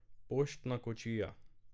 Poštna kočija.